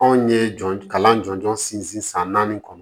Anw ye jɔn kalan jɔnjɔn sinsin san naani kɔnɔ